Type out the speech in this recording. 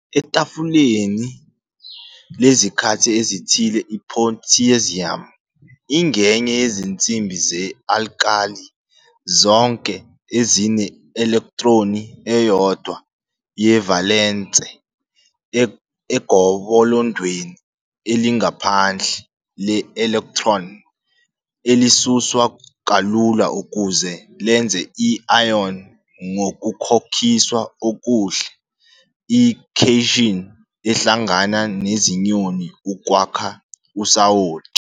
Etafuleni lezikhathi ezithile, i-potassium ingenye yezinsimbi ze-alkali, zonke ezine- elektroni eyodwa ye-valence egobolondweni elingaphandle le-electron, elisuswa kalula ukuze lenze i-ion ngokukhokhiswa okuhle - i- cation, ehlangana nezinyoni ukwakha usawoti.